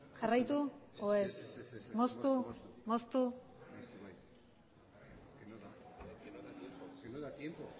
jarraitu edo